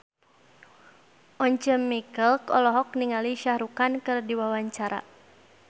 Once Mekel olohok ningali Shah Rukh Khan keur diwawancara